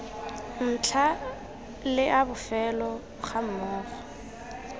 ntlha le a bofelo gammogo